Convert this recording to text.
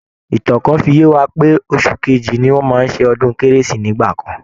Ìtan kan fi yé wa pé oṣù kejì ni wọ́n máa ń ṣe ọdún kérésì nígbà kan